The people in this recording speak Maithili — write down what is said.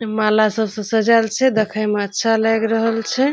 माला सब से सजाएल छै देखे में अच्छा लाएग रहल छै।